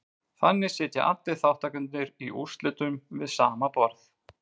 Þannig sitja allir þátttakendurnir í úrslitunum við sama borð.